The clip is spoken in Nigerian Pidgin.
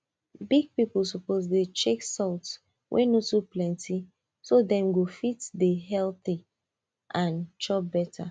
big people suppose dey check salt wey no too plenty so dem go fit dey healthy and chop beta